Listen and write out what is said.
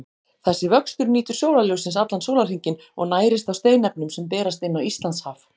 Þessi vöxtur nýtur sólarljóssins allan sólarhringinn og nærist á steinefnum sem berast inn á Íslandshaf.